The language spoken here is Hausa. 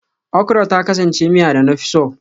Okra ta kasance miya da na fi so